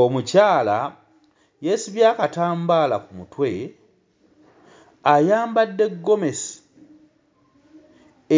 Omukyala yeesibye akatambaala ku mutwe ayambadde ggomesi